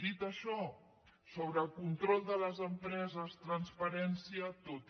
dit això sobre el control de les empreses transparència tota